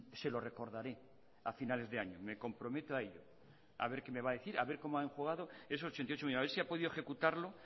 se lo recordaré a finales de año me comprometo a ello a ver qué me va a decir a ver cómo ha esos ochenta y ocho millónes a ver si ha podido ejecutarlo